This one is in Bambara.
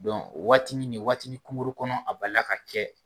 o waati nin waatini kunkuru kɔnɔ a balila ka kɛ